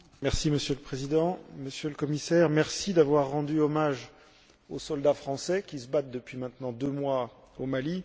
Monsieur le Président, Monsieur le Commissaire, merci d'avoir rendu hommage aux soldats français qui se battent depuis maintenant deux mois au Mali.